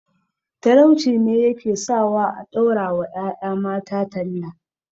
Talauci ne ya ke sawa a ɗaura wa ƴaƴa mata talla